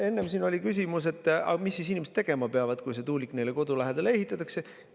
Enne oli siin küsimus, mis siis inimesed tegema peavad, kui see tuulik nende kodu lähedale ehitatakse.